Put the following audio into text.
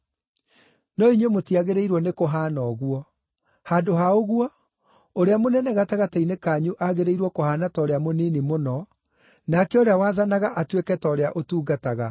No inyuĩ mũtiagĩrĩirwo nĩkũhaana ũguo. Handũ ha ũguo, ũrĩa mũnene gatagatĩ-inĩ kanyu agĩrĩirwo kũhaana ta ũrĩa mũnini mũno, nake ũrĩa wathanaga atuĩke ta ũrĩa ũtungataga.